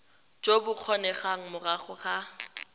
jo bo kgonegang morago ga